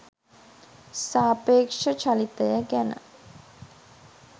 සාපේක්ෂ චලිතය ගැන